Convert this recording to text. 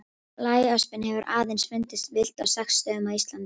Blæöspin hefur aðeins fundist villt á sex stöðum á Íslandi.